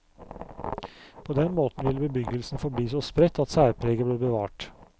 På den måten ville bebyggelsen forbli så spredt at særpreget ble bevart.